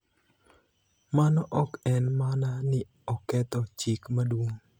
mano ok en mana ni oketho Chik Maduong'